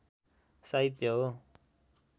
साहित्य हो